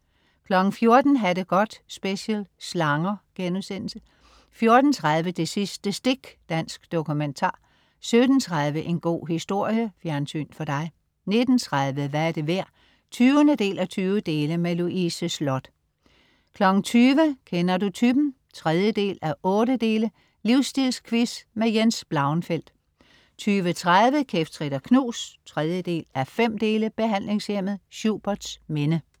14.00 Ha' det godt special. Slanger* 14.30 Det sidste stik. Dansk dokumentar 17.30 En god historie. Fjernsyn for dig 19.30 Hvad er det værd? 20:20. Louise Sloth 20.00 Kender du typen? 3:8. Livstilsquiz. Jens Blauenfeldt 20.30 Kæft, trit og knus 3:5. Behandlingshjemmet Schuberts Minde